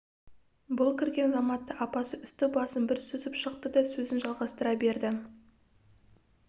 бұл кірген заматта апасы үсті-басын бір сүзіп шықты да сөзін жалғастыра берді